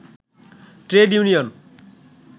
trade union